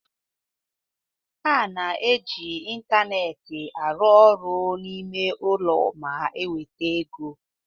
A na-eji ịntanetị arụ ọrụ n'ime ulo ma nweta ego.